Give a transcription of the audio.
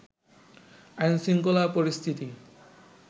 আইনশৃঙ্খলা পরিস্থিতি